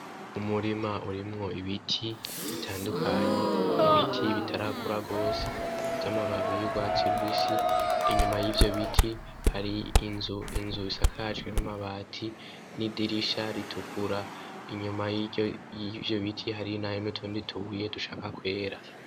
Umurima urimwo ibiti bitandukanye, ibiti bitarakura gose vy'amababi y'urwatsi rubisi. Inyuma y'ivyo biti hari inzu, inzu isakajwe n'amabati n'idirisha ritukura. Inyuma y'ivyo biti hari nayo n'utundi tubuye dushaka kwera.